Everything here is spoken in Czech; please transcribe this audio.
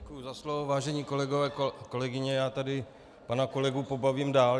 Děkuji za slovo, vážení kolegové, kolegyně, já tady pana kolegu pobavím dál.